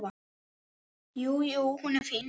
Jú, jú. hún er fín.